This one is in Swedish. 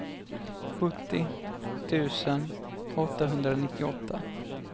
sjuttio tusen åttahundranittioåtta